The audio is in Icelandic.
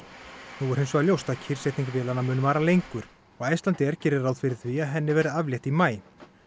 nú er hins vegar ljóst að kyrrsetning vélanna mun vara lengur og Icelandair gerir ráð fyrir því að henni verði aflétt í maí